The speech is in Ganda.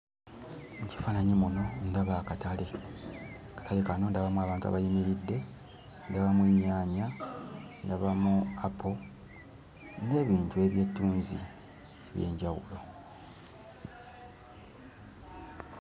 Mu kifaananyi muno ndaba akatale. Akatale kano ndabamu abantu abayimiridde ndabamu ennyaanya ndabamu apo n'ebintu ebyettunzi eby'enjawulo.